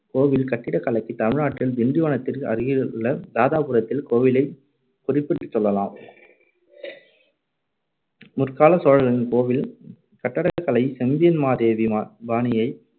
கோவில் கட்டடக்கலைக்கு தமிழ்நாட்டில் திண்டிவனத்திற்கு அருகேயுள்ள தாதாபுரத்திலுள்ள கோவிலைக் குறிப்பிட்டுச் சொல்லலாம். முற்காலச் சோழர்களின் கோவில் கட்டக்கலை செம்பியன் மகாதேவி மா~ பாணியை